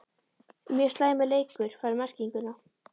Mjög slæmur leikur fær merkinguna??